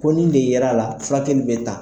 Ko nin de ye ra a la, furakɛ kelen in bɛ ta